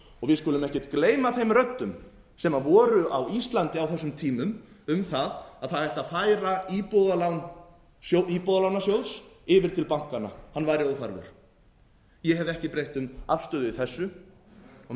við skulum ekkert gleyma þeim röddum sem voru á íslandi á þessum tímum um það að það ætti að færa íbúðalán íbúðalánasjóðs yfir til bankanna hann væri óþarfur ég hef ekki breytt um afstöðu í þessu og menn